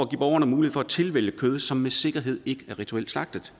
borgerne mulighed for at tilvælge kød som med sikkerhed ikke er rituelt slagtet